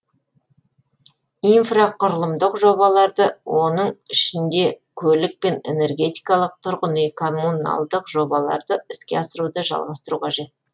инфрақұрылымдық жобаларды оның ішінде көлік пен энергетикалық тұрғын үй коммуналдық жобаларды іске асыруды жалғастыру қажет